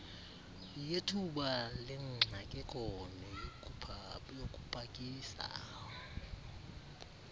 yethuba lengxakeko neyokupakisa